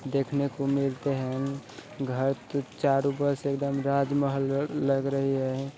देखने को मिलते है| घर की चारों तरफ एकदम राजमहल लग रही है।